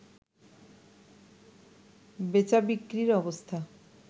বেচাবিক্রির অবস্থা